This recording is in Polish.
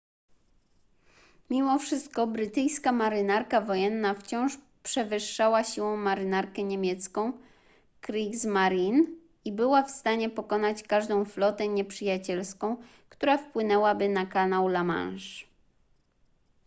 mimo wszystko brytyjska marynarka wojenna wciąż przewyższała siłą marynarkę niemiecką kriegsmarine i była w stanie pokonać każdą flotę nieprzyjacielską która wpłynęłaby na kanał la manche